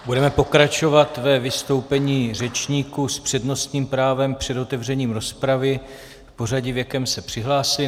Budeme pokračovat ve vystoupení řečníků s přednostním právem před otevřením rozpravy v pořadí, v jakém se přihlásili.